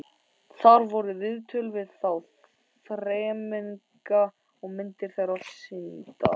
Þar voru viðtöl við þá þremenninga og myndir þeirra sýndar.